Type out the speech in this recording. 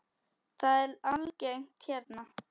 Það er algengt hérna.